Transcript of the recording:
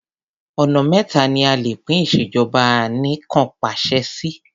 Ọ̀nà méta ni a lè pín ìṣèjọba anìkanpàṣẹ sí.